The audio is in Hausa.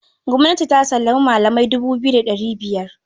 Gwamnati ta sallami malamai dubu biyu da ɗari biyar